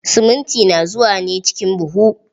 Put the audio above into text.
Siminti na zuwa ne ciki buhu.